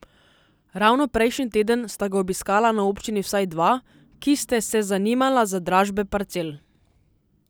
Ravno prejšnji teden sta ga obiskala na občini vsaj dva, ki ste se zanimala za dražbe parcel.